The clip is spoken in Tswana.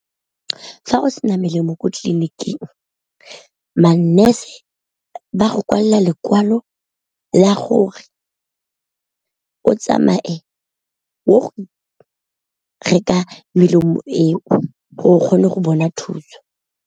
Fa o sena melemo kwa tleliniking man-nurse ba go kwalela lekwalo la gore o tsamaye o ye go reka melemo eo gore o kgone go bona thuso.